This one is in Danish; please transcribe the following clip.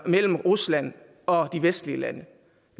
mellem rusland og de vestlige lande